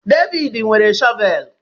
Devid nwere shọvel